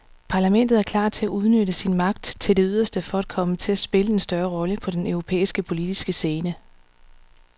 Parlamentet er klar til at udnytte sin magt til det yderste for at komme til at spille en større rolle på den europæiske politiske scene.